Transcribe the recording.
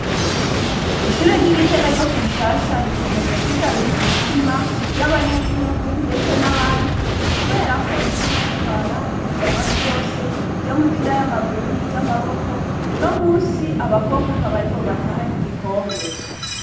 Ishure ry'Igitega ryo kumushasha rikomeje kwigarurira imitima, y'abanyagihugu ndetse n'abandi, kubera ko riguma ritwara ihiganwa ryose ry'imipira y'amaguru niry'amaboko, unomusi abakobwa akaba ariko batahanye igikombe.